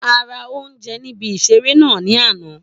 A ra oúnjẹ níbi ìseré náà ní àná